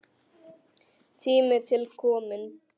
Tími til kominn.